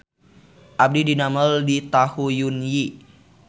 Abdi didamel di Tahu Yun Yi